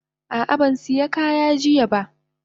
Ah ah ban siya kaya jiya ba.